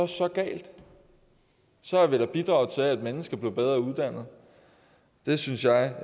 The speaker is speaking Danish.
så galt så har vi da bidraget til at et menneske blev bedre uddannet og det synes jeg